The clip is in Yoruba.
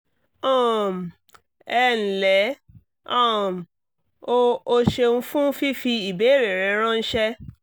um ẹ ǹlẹ́ um o o ṣeun fún fífi ìbéèrè rẹ ránṣẹ́